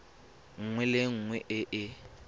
nngwe le nngwe e e